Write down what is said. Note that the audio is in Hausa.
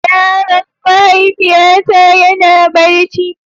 Yaron mahaifiyata yana barci.